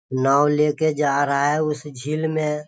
नाव लेके जा रहा है उस झील में।